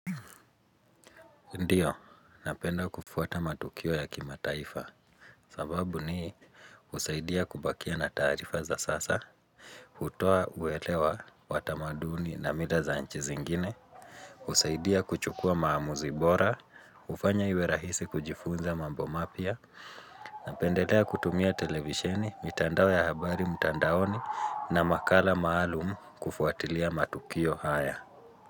Ndiyo, napenda kufuata matukio ya kimataifa sababu ni husaidia kubakia na taarifa za sasa hutoa uelewa wa tamaduni na mila za nchi zingine husaidia kuchukua maamuzi bora. Hufanya iwe rahisi kujifunza mambo mapya. Napendelea kutumia televisheni, mitandao ya habari mtandaoni, na makala maalum kufuatilia matukio haya.